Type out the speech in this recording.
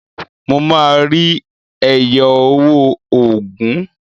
Mo máa rí ẹyọ owó ogún.